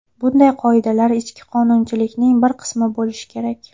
Bunday qoidalar ichki qonunchilikning bir qismi bo‘lishi kerak.